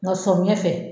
Nka sɔmiɲɛ fɛ